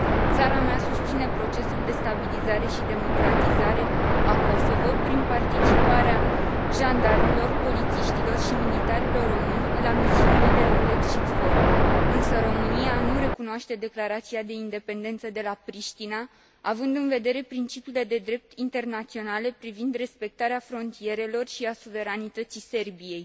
Țara mea susține procesul de stabilizare și democratizare a Kosovo prin participarea jandarmilor, polițiștilor și militarilor români la misiunile EULEX și KFOR, însă România nu recunoaște declarația de independență de la Priștina, având în vedere principiile de drept internaționale privind respectarea frontierelor și a suveranității Serbiei.